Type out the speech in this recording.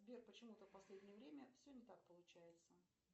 сбер почему то в последнее время все не так получается